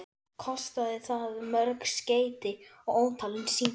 Kostaði það mörg skeyti og ótalin símtöl.